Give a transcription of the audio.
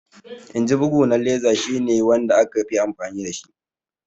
Inji bugu na laser shi ne wanda aka fi amfani dashi